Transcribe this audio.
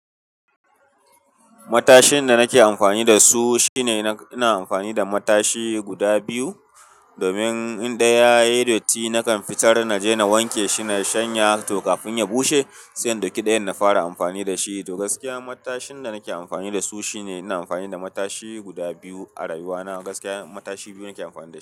Matashin da nake amfani da su shine ina amfani da matashi guda biyu, domin in ɗaya yayi datti nakan fitar naje na wanke shi nayi shanya to kafin ya bushe, siyan daki ɗayan na fara amfani dashi. To gaskiya matashin da nake amfani da su shine ina amfani da matashi guda biyu a rayuwa na. Gaskiya matashi biyu nake amfani da shi.